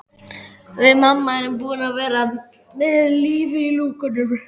Við mamma erum búin að vera með lífið í lúkunum.